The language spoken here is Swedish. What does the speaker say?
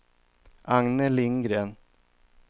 Agne Lindgren